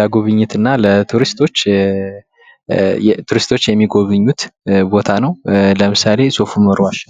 ለጉብኝትና ለቱሪስቶች ቱሪስቶች የሚጎበኙት ቦታ ነው። ለምሳሌ ሶፍ ኡመር ዋሻ።